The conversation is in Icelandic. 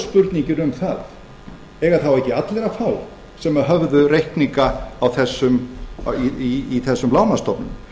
spurningin um það eiga þá ekki allir að fá sem höfðu reikninga í þessum lánastofnunum